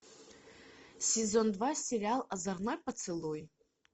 сезон два сериал озорной поцелуй